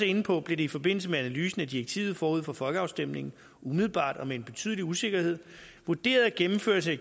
inde på blev det i forbindelse med analysen af direktivet forud for folkeafstemningen umiddelbart og med en betydelig usikkerhed vurderet at gennemførelse af